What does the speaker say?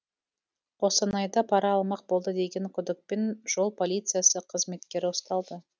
қостанайда пара алмақ болды деген күдікпен жол полициясы қызметкері ұсталды